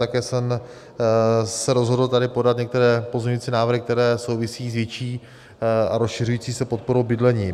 Také jsem se rozhodl tady podat některé pozměňující návrhy, které souvisejí s větší a rozšiřující se podporou bydlení.